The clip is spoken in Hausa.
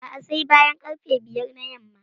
A'a, sai bayan ƙarfe biyar na yamma.